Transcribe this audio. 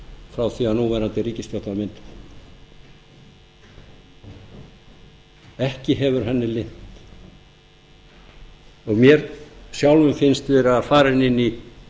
frá því að núverandi ríkisstjórn var mynduð mér sjálfum finnst við vera farin inn í